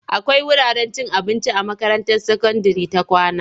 Akwai wurin cin abinci a makaranta sakandire ta kawna.